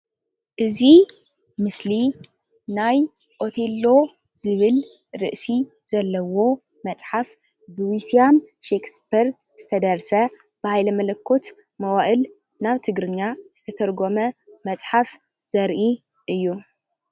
እዚ ምስሊ ናይ ኦቴሎ ዝብል ርእሲ ዘለዎ መፅሓፍ ዊሊያም ሸክስፐር ዝተደረሰ ብሃይለ መለኮት መዋእል ናብ ትግርኛ ዝተርጎመ መፅሓፍ ዘርኢ እዪ።